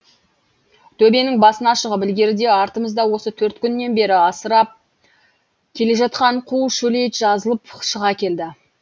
төбенің басына шығып ілгеріде артымызда осы төрт күннен бері асырап келе жатқан қу шөлейт жазылып шыға келді